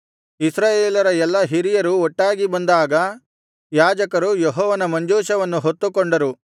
ಇಸ್ರಾಯೇಲರ ಎಲ್ಲಾ ಹಿರಿಯರು ಒಟ್ಟಾಗಿ ಬಂದಾಗ ಯಾಜಕರು ಯೆಹೋವನ ಮಂಜೂಷವನ್ನು ಹೊತ್ತುಕೊಂಡರು